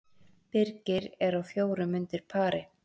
Birgir er á fjórum undir pari